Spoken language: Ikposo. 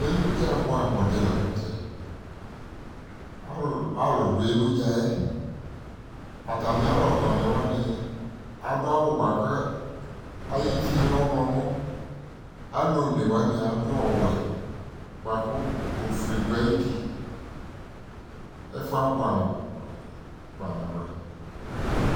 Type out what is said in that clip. Eludza bʋɛamʋdɩ la n'tɛ Alʋ dʋ eludza yɛ Atami alɔtɔnɩwanɩ adʋ awʋ bʋa kʋ ay'ivi lɛ ɔɣlɔmɔ Alʋ onewanɩ adʋ ɔwɛ bʋa kʋ ofue dʋ ayili, ɛfʋ yɛ abʋɛ amʋ kpa nabʋɛ